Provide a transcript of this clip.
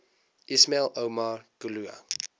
ismail omar guelleh